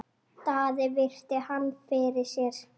Daði virti hann fyrir sér.